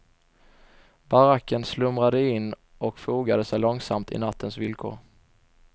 Baracken slumrade in och fogade sig långsamt i nattens villkor.